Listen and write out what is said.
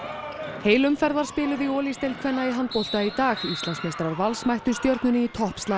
heil umferð var spiluð í Olís deild kvenna í handbolta í dag Íslandsmeistarar Vals mættu stjörnunni í toppslag